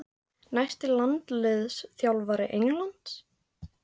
Næsti landsliðsþjálfari Englands?